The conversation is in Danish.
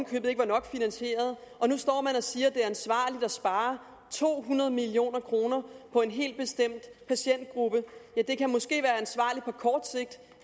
købet ikke var nok finansieret og nu står man og siger at det er ansvarligt at spare to hundrede million kroner på en helt bestemt patientgruppe det kan måske være ansvarligt på kort sigt